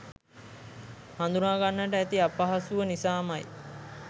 හඳුනාගන්නට ඇති අපහසුව නිසාමයි.